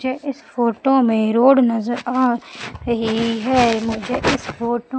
जैसे इस फोटो मे रोड नज़र आ रही है। मुझे इस फोटो --